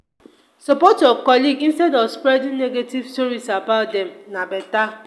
support your colleagues instead of spreading negative stories about dem na better.